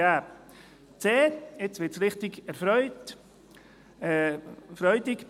Punkt 2.c: Nun wird es richtig freudig: